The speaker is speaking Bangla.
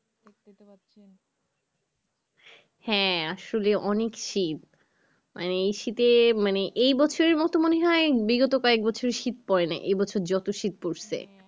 হ্যাঁ আসলে অনেক শীত মানে এই শীতে এই বছরের মতো মনে হয় বিগত কয়েক বছরে শীত পরেনাই এই বছর যত শীত পড়েসে